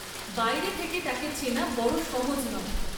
বাইরে থেকে তাকে চেনা বড় সহজ নয়।